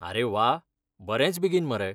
अरे वा, बरेंच बेगीन मरे!